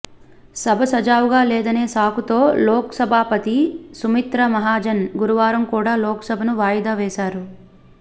సభ సజావుగా లేదనే సాకుతో లోక్సభాపతి సుమిత్రా మహాజన్ గురువారం కూడా లోక్సభను వాయిదా వేశారు